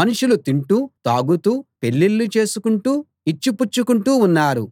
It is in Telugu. మనుషులు తింటూ తాగుతూ పెళ్ళిళ్ళు చేసుకుంటూ ఇచ్చి పుచ్చుకుంటూ ఉన్నారు